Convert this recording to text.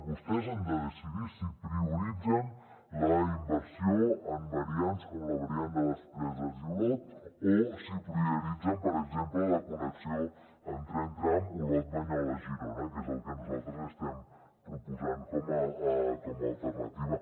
vostès han de decidir si prioritzen la inversió en variants com la variant de les preses i olot o si prioritzen per exemple la connexió amb tren tram olot banyoles girona que és el que nosaltres li estem proposant com a alternativa